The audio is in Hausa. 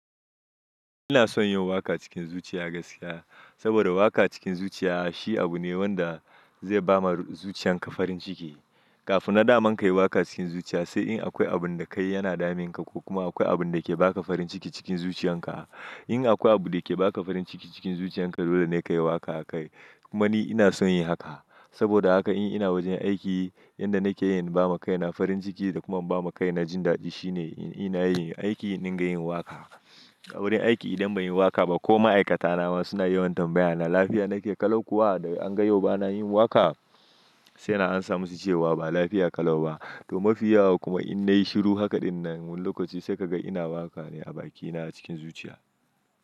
Ina son yin waka cikin zuciya gaskiya, saboda waka cikin zuciya shi abu ne wanda zai ba ma zuciyan ka farin ciki. Kafin na daman ka yi waka cikin zuciya, sai in akwai abun da kai yana damun ka ko kuma akwai abun da ke ba ka farin ciki cikin zuciyan ka. In akwai abu da ke ba ka farin ciki cikin zuciyan ka, dole ne ka yi waka akai. Kuma ni ina son yin haka. Saboda haka in ina wajen aiki, inda nake yin ba ma kai na farin ciki da kuma ba ma kai na jin daɗi, shi ne in ina yin aiki, in na yi yin waka. A wurin aiki idan bai yi waka ba ko ma'aikata na ma suna yi wantan bayyana lafiya nake, kalau kuwa da an ga yau ba na yin waka, sai na amsa musu cewa ba lafiya kalau ba. To mafiyawa kuma in na yi shiru haka din nan, wani lokaci sai ka ga ina waka ne a bakina cikin zuciya.